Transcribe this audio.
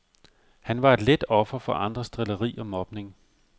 Han var et let offer for andres drilleri og mobning.